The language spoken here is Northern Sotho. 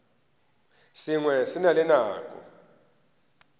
sengwe se na le nako